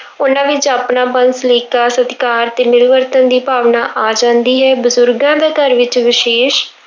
ਉਹਨਾਂ ਵਿੱਚ ਆਪਣਾਪਨ, ਸਲੀਕਾ, ਸਤਿਕਾਰ ਤੇ ਮਿਲਵਰਤਨ ਦੀ ਭਾਵਨਾ ਆ ਜਾਂਦੀ ਹੈ, ਬਜ਼ੁਰਗਾਂ ਦਾ ਘਰ ਵਿੱਚ ਵਿਸ਼ੇਸ਼